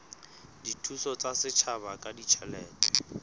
dithuso tsa setjhaba ka ditjhelete